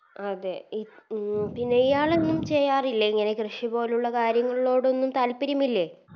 അതെ ഇപ് ഉം ഇയാളൊന്നും ചെയ്യാറില്ല ഇങ്ങനെ കൃഷി പോലുള്ള കാര്യങ്ങളോടൊന്നും താൽപ്പര്യമില്ലെ